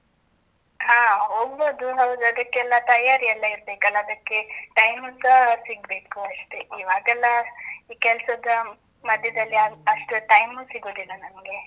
ಹಾ ಹೋಗ್ಬೋದು, ಹೌದು. ಅದಕ್ಕೆಲ್ಲ ತಯಾರಿ ಎಲ್ಲ ಇರ್ಬೇಕಲ್ಲ? ಅದಕ್ಕೆ time ಸ ಸಿಗ್ಬೇಕು ಅಷ್ಟೇ ಇವಾಗೆಲ್ಲ ಈ ಕೆಲ್ಸದ ಮಧ್ಯದಲ್ಲಿ ಅಷ್ಟ್ time ಸಿಗುದಿಲ್ಲ ನಂಗೆ.